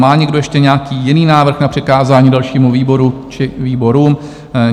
Má někdo ještě nějaký jiný návrh na přikázání dalšímu výboru či výborům?